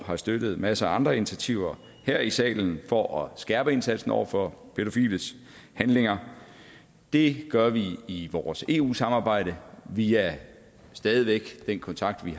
har støttet masser af andre initiativer her i salen for at skærpe indsatsen over for pædofiles handlinger det gør vi i vores eu samarbejde via den kontakt vi